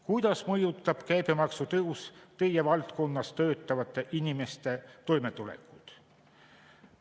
Kuidas mõjutab käibemaksu tõus teie valdkonnas töötavate inimeste toimetulekut?